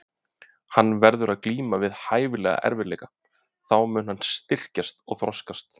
Hann verður að glíma við hæfilega erfiðleika, þá mun hann styrkjast og þroskast.